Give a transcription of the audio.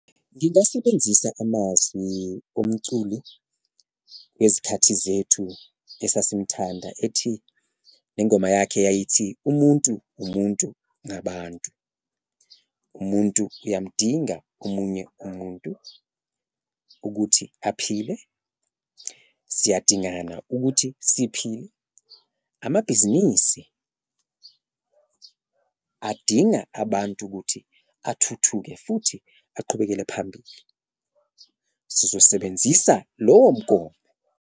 Ngingasebenzisa amazwi owumculi wezikhathi zethu esimthanda ethi le ngoma yakhe eyayithi, umuntu, umuntu ngabantu, umuntu uyamdinga omunye umuntu ukuthi aphile, siyadingana ukuthi siphile, amabhizinisi adinga abantu ukuthi athuthuke futhi aqhubekele phambili. Sizosebenzisa lowo mgomo.